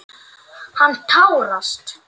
Hann tárast.